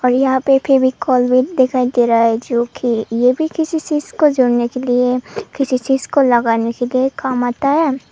यहां पे फेविकोल भी दिखाई दे रहा है जो कि ये भी किसी चीज को जोड़ने के लिए किसी चीज को लगाने के लिए काम आता है।